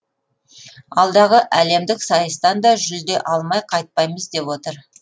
алдағы әлемдік сайыстан да жүлде алмай қайтпаймыз деп отыр